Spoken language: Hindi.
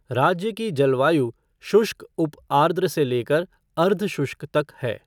राज्य की जलवायु शुष्क उप आर्द्र से लेकर अर्ध शुष्क तक है।